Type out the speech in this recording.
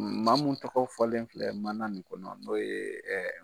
Maa mun tɔgɔ fɔlen filɛ maan in kɔnɔ n'o ye